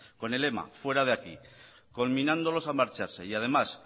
con el lema fuera de aquí conminándolos a marcharse y además